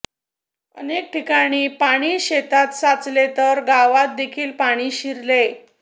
अनेक ठिकाणी पाणी शेतात साचले तर गावात देखील पाणी शिरले